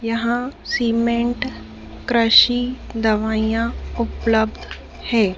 यहां सीमेंट दवाइयां उपलब्ध है।